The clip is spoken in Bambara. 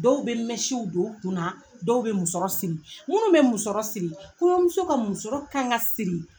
Dɔw be don u kun na dɔw be musɔrɔ siri munnu be musɔrɔ siri kɔɲɔmuso ka musɔrɔ ka ŋa siri